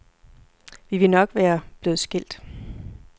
Vi ville nok være blevet skilt.